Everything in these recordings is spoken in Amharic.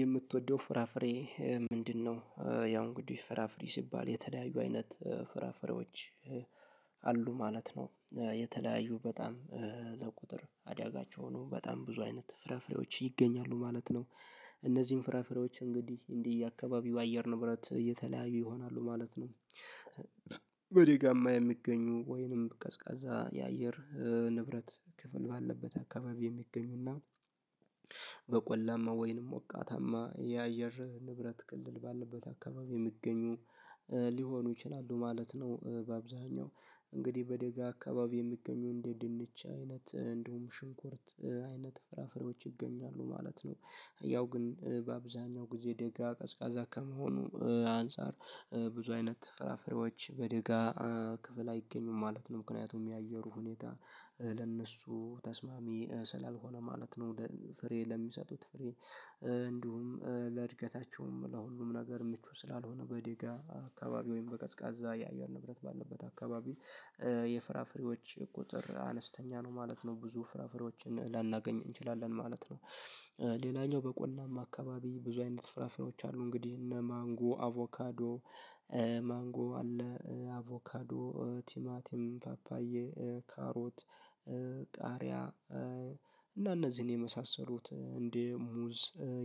የምትወደው ፍራፍሬ ምንድነው? ያው እንግዲህ ፍራፍሬ ሲባል የተደያዩ አይነት ፍራፍሬዎች አሉ ማለት ነው። የተለያዩ በጣም ለቁጥር አዳጋች የሆኑ በጣም ብዙ አይነት ፍራፍሬዎች ይገኛሉ ማለት ነው። እነዚህን ፍራፍሬዎች እንግዲህ እንዲህ አካባቢው አየር ንብረት እየተለያዩ ይሆናሉ ማለት ነው። በደጋማ የሚገኙ ወይንም ቀዝቃዛ የአየር ንብረት ክፍል ባለበት አካባቢ የሚገኙና በቆላማ ወይንም ወቃታማ የአየር ንብረት ክልል ባለበት አካባቢ የሚገኙ ሊሆኑ ይችላሉ ማለት ነው። በአብዛኛው እንግዲህ በደጋ አካባቢ የሚገኙ እንደ ድንች አይነት እንደውም ሽንኩርት አይነት ፍራፍሬዎች ይገኛሉ ማለት ነው። ያው ግን በአብዛኛው ጊዜ ደጋ ቀዝቃዛ ከመሆኑ አንፃር ብዙ አይነት ተፈራፍሬዎች በደጋ ክፍል አይገኙም ማለት ነው። ምክንያቱም የአየሩ ሁኔታ ለእነሱ ተስማሚ ስላልሆነ ማለት ነው። ፍሬ ለሚሰጡት እንዲሁም ለእድገታቸውም ለሁሉም ነገር ምቹ ስላልሆነ በደጋ አካባቢ ወይም በቀዝቃዛ የአየር ንብረት ባለበት አካባቢ የፍራፍሬዎች ቁጥር አነስተኛ ነው ማለት ነው። ብዙ ፍራፍሬዎችን ላናገኝ እንችላለን ማለት ነው። ሌላኛው በቆላማ አካባቢ ብዙ አይነት ፍራፍራዎች አሉ እንግዲህ እነ ማንጎ አቮካዶ ማንጎ አለ አቮካዶ ቲማቲም ፓፓዬ ካሮት ቃሪያ እና እነዚህን የመሳሰሉት እንደ ሙዝ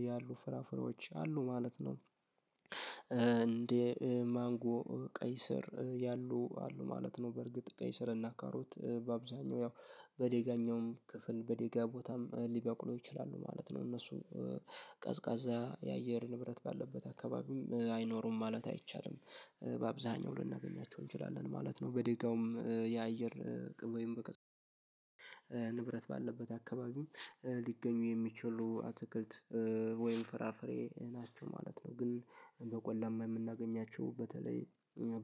ያሉ ፍራፍሮች አሉ ማለት ነው። እንደ ማንጎ ቀይ ስር ያሉ አሉ ማለት ነው። በርግጥ ቀይ ስርና ካሮት በአብዛኛው ያው በደጋኛውም ክፍል በደጋ ቦታም ሊበቅሉ ይችላሉ ማለት ነው እነሱ ቀዝቃዛ የአየር ንብረት ባለበት አካባቢም አይኖሩም ማለት አይቻልም። በአብዛኛው ልናገኛቸው እንችላለን ማለት ነው። በደጋውም የአየር ወይም በቀዝቃዛ ንብረት ባለበት አካባቢም ሊገኙ የሚችሉ አትክልት ወይም ፍራፍሬ ናቸው ማለት ነው። ግን በቆላማ የምናገኛቸው በተለይ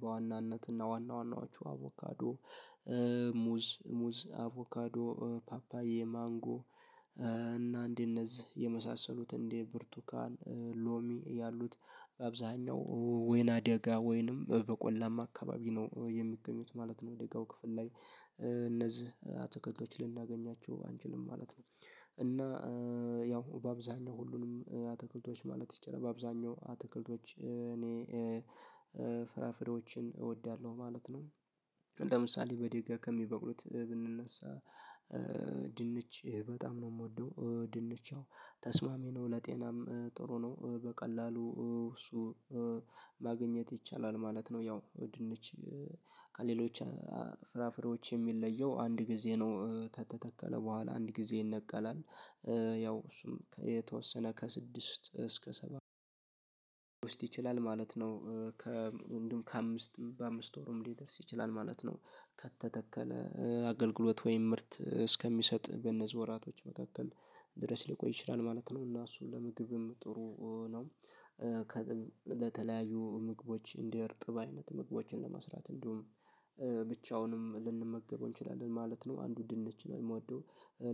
በዋናነት እና ዋና ዋናዎቹ አቮካዶ ሙዝ ሙዝ አቮካዶ ፓፓዬ ማንጎ እና እንደ እነዚህ የመሳሰሉት እንደ ብርቱካን ሎሚ ያሉት አብዛኛው ወይናደጋ ወይንም በቆላማ አካባቢ ነው የሚገኙት ማለት ነው። ደጋው ክፍል ላይ አትክልቶች ልናገኛቸው አንችልም ማለት ነው። እና ያው በአብዛኛው ሁሉንም አትክልቶች ማለት ይቻላል በአብዛኛው አትክልቶች እኔ ፍራፍሬዎችን እወዳለሁ ማለት ነው። ለምሳሌ በደጋ ከሚበቅሉት ብንነሳ ድንች በጣም ነው የምወደው ድንች ተስማሚ ነው ለጤናም ጥሩ ነው በቀላሉ እሱ ማግኘት ይቻላል ማለት ነው። ያው ድንች ከሌሎች ፍራፍሬዎች የሚለየው አንድ ጊዜ ነው ከተተከለ በኋላ አንድ ጊዜ ይነቀላል ያው እሱም የተወሰነ ከስድስት እስከ ሰባት ውስጥ ይችላል ማለት ነው። ከእንደውም ከአምስት በአምስት ወርም ሊደርስ ይችላል ማለት ነው። ከተተከለ አገልግሎት ወይም ምርት እስከሚሰጥ በእነዚህ ወራቶች መካከል ድረስ ሊቆይ ይችላል ማለት ነው። እና እሱን ለምግብም ጥሩ ነው ለተለያዩ ምግቦች እንደ እርጥብ አይነት ምግቦችን ለመስራት እንዲሁም ብቻውንም ልንመገበው እንችላለን ማለት ነው። አንዱ ድንች ነው የምወደው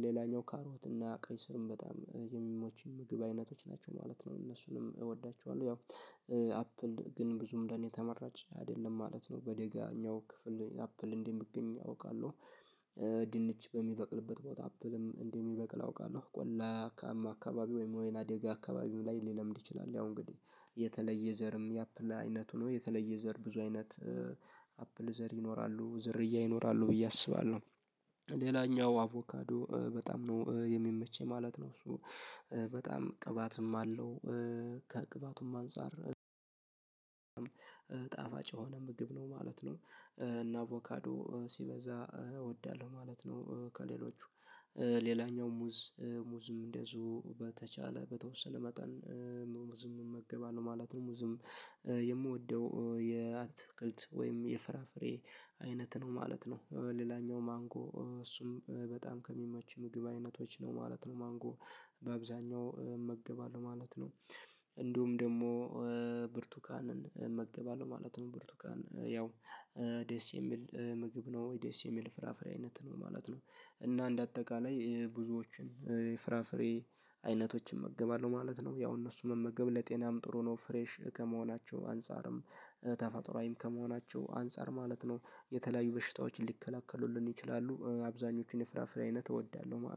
ሌላኛው ካሮት እና ቀይ ስርም በጣም የሚመቹኝ ምግብ አይነቶች ናቸው ማለት ነው። እነሱንም እወዳቸዋለሁ ያው አፕል ግን ብዙም እንደኔ ተመራጭ አይደለም ማለት ነው። በደጋኛው ክፍል አፕል እንዲህ የሚገኝ አውቃለሁ ድንች በሚበቅልበት ቦታ አፕልም እንዲህ የሚበቅል አውቃለሁ። ቆላማ አካባቢ ወይም ወይ ናደጋ አካባቢው ላይ ሊለምድ ይችላል ያው እንግዲህ የተለየ ዘርም የአፕል አይነቱ ነው የተለየ ዘር ብዙ አይነት አፕል ዘር ይኖራሉ ዝርያ ይኖራሉ ብዬ አስባለሁ። ሌላኛው አቮካዶ በጣም ነው የሚመቸኝ ማለት ነው። እሱ በጣም ቅባትም አለው ከቅባቱም አንፃር ጣፋጭ የሆነ ምግብ ነው ማለት ነው። እና ቮካዶ ሲበዛ እወዳለሁ ማለት ነው። ከሌሎቹ ሌላኛው ሙዝ ሙዝም እንደዚሁ በተቻለ በተወሰለ መጠን ሙዝም እመገባለሁ ማለት ነው። ሙዝም የምወደው የአትክልት ወይም የፍራፍሬ አይነት ነው ማለት ነው። ሌላኛው ማንጎ እሱም በጣም ከሚመቹኝ ምግብ አይነቶች ነው ማለት ነው። ማንጎ በአብዛኛው እመግባለሁ ማለት ነው። እንዲሁም ደግሞ ብርቱካንን እመገባለሁ ማለት ነው። ብርቱካን ያው ደስ የሚል ምግብ ነው ደስ የሚል ፍራፍሬ አይነት ነው ማለት ነው። እና እንደ አጠቃላይ ብዙዎችን ፍራፍሬ አይነቶችን እመገባለሁ ማለት ነው። ያው እነሱ መመገብ ለጤናም ጥሩ ነው ፍሬሽ ከመሆናቸው አንፃርም ተፈጥሮአዊም ከመሆናቸው አንፃር ማለት ነው። የተለያዩ በሽታዎች ሊከላከሉልን ይችላሉ አብዛኞቹን የፍራፍሬ አይነት እወዳለሁ